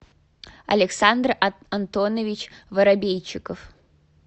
александр антонович воробейчиков